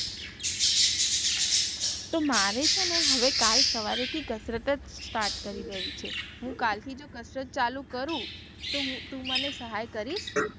તો મારે છે ને હવે કાલ સવારે થી કસરત જ start કરી દેવી છે હું કાલ થી જો કસરત ચાલુ કરું તો તું મને સહાય કરીશ?